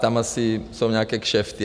Tam jsou asi nějaké kšefty.